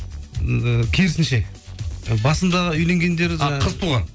ы керісінше басындағы үйленгендер қыз туған